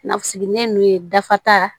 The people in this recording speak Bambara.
Nasigilen ninnu ye dafata